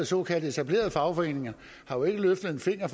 såkaldt etablerede fagforeninger har jo ikke løftet en finger